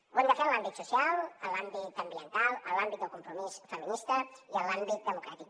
ho hem de fer en l’àmbit social en l’àmbit ambiental en l’àmbit del compromís feminista i en l’àmbit democràtic